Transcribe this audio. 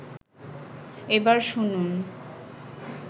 এবার শুনুন